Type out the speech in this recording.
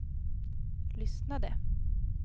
lyssnade